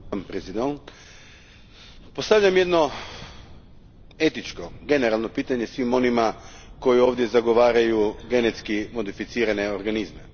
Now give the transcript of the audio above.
Gospođo predsjednice, postavljam jedno etičko, generalno pitanje svim onima koji ovdje zagovaraju genetski modificirane organizme.